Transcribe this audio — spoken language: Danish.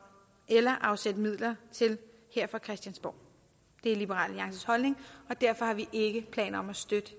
eller afsætte midler til her fra christiansborg det er liberal alliances holdning og derfor har vi ikke planer